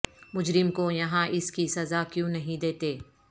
مجرم کو یہاں اس کی سزا کیوں نہیں دیتے